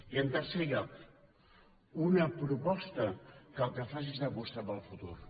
i en tercer lloc una proposta que el que faci és apostar pel futur